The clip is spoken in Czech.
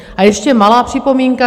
A ještě malá připomínka.